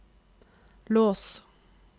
lås